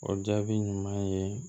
O jaabi ɲuman ye